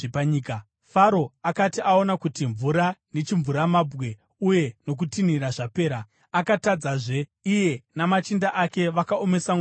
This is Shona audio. Faro akati aona kuti mvura nechimvuramabwe uye nokutinhira zvapera, akatadzazve: Iye namachinda ake vakaomesa mwoyo yavo.